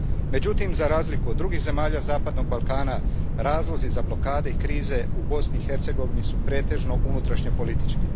Međutim, za razliku od drugih zemalja zapadnog Balkana, razlozi za blokade i krize u Bosni i Hercegovini pretežno su unutrašnjopolitički.